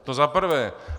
To za prvé.